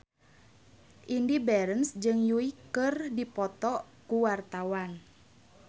Indy Barens jeung Yui keur dipoto ku wartawan